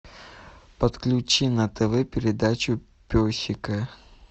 подключи на тв передачу песика